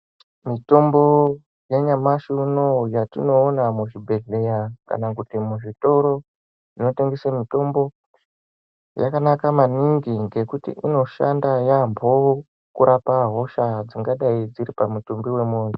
Mitombo yanyamashi unoo yatinoona muzvibhedhleya kana kuti muzvitori zvinotengese mutombo yakanaka maningi ngekuti inoshanda yaambo kurapa hosha dzingadayi dziri pamutumbi wemuntu.